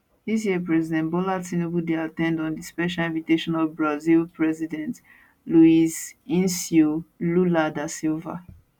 dis year nigeria president bola tinubu dey at ten d on di special invitation of brazil president luiz incio lula da silva